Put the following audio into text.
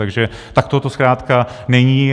Takže takto to zkrátka není.